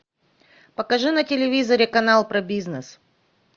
покажи на телевизоре канал про бизнес